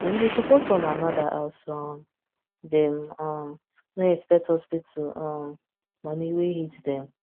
dem dey support one another as um dem um no expect hospital um money wey hit dem